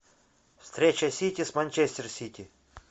встреча сити с манчестер сити